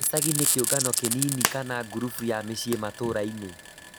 Gicagi nĩ kĩũngano kĩnini kana ngurubu ya miciĩ matũraini